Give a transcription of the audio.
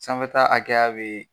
Sanfɛta hakɛya bee